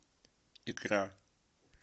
икра